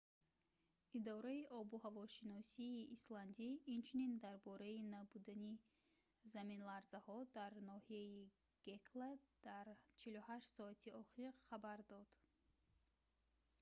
идораи обуҳавошиносии исландӣ инчунин дар бораи набудани заминларзаҳо дар ноҳияи гекла дар 48 соати охир хабар дод